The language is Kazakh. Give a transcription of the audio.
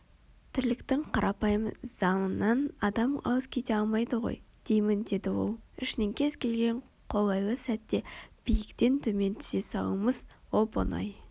тірліктің қарапайым заңынан адам алыс кете алмайды ғой деймін деді ол ішінен кез келген қолайлы сәтте биіктен төмен түсе салуымыз оп-оңай